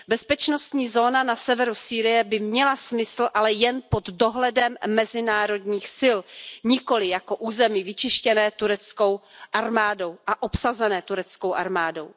Bezpečnostní zóna na severu Sýrie by měla smysl, ale jen pod dohledem mezinárodních sil, nikoliv jako území vyčištěné tureckou armádou a obsazené tureckou armádou.